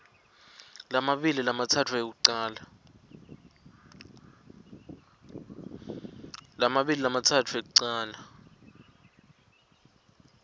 lamabili lamatsatfu ekucala